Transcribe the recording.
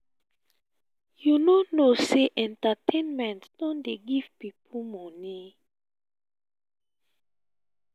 you no know sey entertainment don dey give pipo money?